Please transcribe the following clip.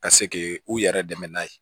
Ka se k'i u yɛrɛ dɛmɛ n'a ye